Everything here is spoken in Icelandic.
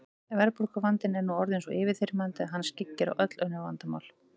Verðbólguvandinn er nú orðinn svo yfirþyrmandi að hann skyggir á öll önnur vandamál.